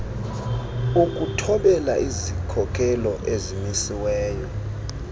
ukuthobela izikhokelo ezimisiweyo